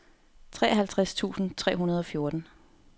treoghalvtreds tusind tre hundrede og fjorten